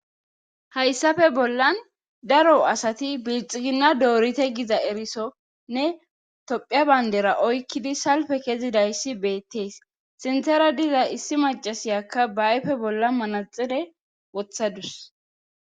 Hayssafe bollan daro asati bilxiginna doorite giza erisonne tophia bayndera oykkidi salpe kezidayssi beettees sintera diza issi macasiyakka baype bolla manaxire wothadus.